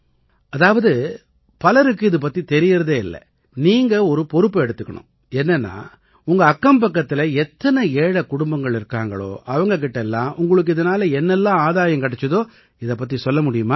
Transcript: அதாவது பலருக்கு இது பத்தி தெரியறதே இல்லை நீங்க ஒரு பொறுப்பை எடுத்துக்கணும் என்னென்னா உங்க அக்கம்பக்கத்தில எத்தனை ஏழை குடும்பங்கள் இருக்காங்களோ அவங்க கிட்ட எல்லாம் உங்களுக்கு இதனால என்னவெல்லாம் ஆதாயம் கிடைச்சுதோ இதைப் பத்தி சொல்ல முடியுமா